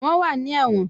Wọ́n wà ní ẹ̀wọ̀n